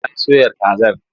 Ya soya kazar.